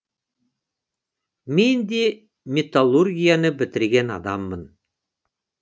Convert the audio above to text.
мен де металлургияны бітірген адаммын